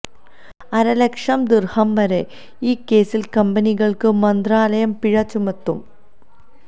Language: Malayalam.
അരലക്ഷം ദിർഹം വരെ ഈ കേസിൽ കമ്പനികൾക്ക് മന്ത്രാലയം പിഴ ചുമത്തും